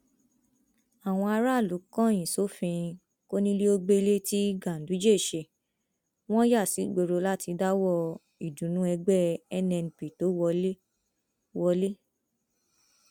àwọn aráàlú kọyìn sófin kóníléógbẹlé tí ganduje ṣe wọn yà sígboro láti dáwọọ ìdùnnú ẹgbẹ nnp tó wọlẹ wọlẹ